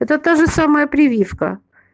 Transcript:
это та же самяа прививка